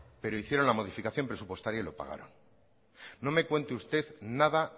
pero hicieron la modificación presupuestaria y lo pagaron no me cuente usted nada